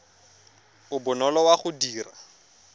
o bonolo wa go dira